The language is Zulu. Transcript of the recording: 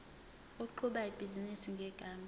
oqhuba ibhizinisi ngegama